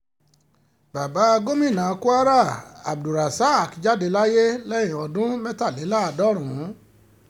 bàbá gomina kwara abdulganiyar abdul-rosaq jáde láyé lẹ́ni ọdún mẹ́tàléláàádọ́rùn